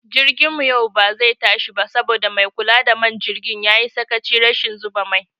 Jirgin mu yau bazai tashi ba saboda maikula da man jirgi yayi sakachin rashin zuba mai